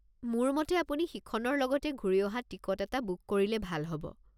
মোৰ মতে আপুনি সিখনৰ লগতে ঘূৰি অহা টিকট এটা বুক কৰিলে ভাল হ'ব।